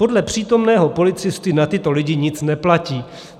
Podle přítomného policisty na tyto lidi nic neplatí.